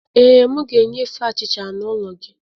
Ee, m ga-enyefe achịcha n’ụlọ gị